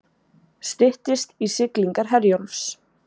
Styttist í siglingar Herjólfs